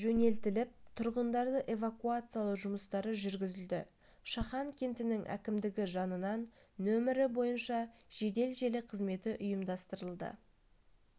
жөнелтіліп тұрғындарды эвакуациялау жұмыстары жүргізілді шахан кентінің әкімдігі жанынан нөмірі бойынша жедел желі қызметі ұйымдастырылды